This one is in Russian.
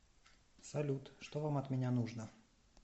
салют что вам от меня нужно